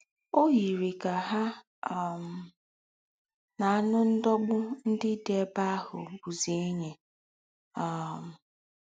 Ó yirì kà ha um na ànù́ ńdọ̀gbù ńdị́ dị́ èbè àhụ̀ hà bùzí ènyì. um